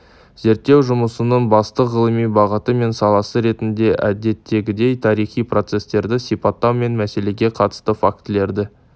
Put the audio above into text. зерттеу жұмысының басты ғылыми бағыты мен саласы ретінде әдеттегідей тарихи процестерді сипаттау мен мәселеге қатысты фактілерді